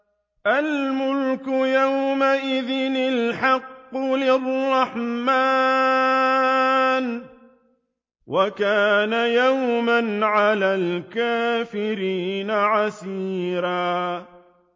الْمُلْكُ يَوْمَئِذٍ الْحَقُّ لِلرَّحْمَٰنِ ۚ وَكَانَ يَوْمًا عَلَى الْكَافِرِينَ عَسِيرًا